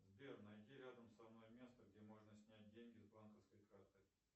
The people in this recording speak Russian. сбер найди рядом со мной место где можно снять деньги с банковской карты